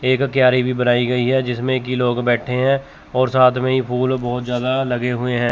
एक क्यारी भी बनाई गई है जिसमें कि लोग बैठे हैं और साथ में ही फूल बहोत ज्यादा लगे हुए हैं।